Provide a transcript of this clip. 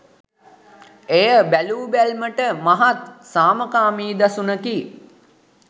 එය බැලූබැල්මට මහත් සාමකාමී දසුනකි